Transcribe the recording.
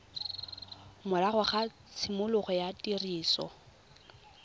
morago ga tshimologo ya tiriso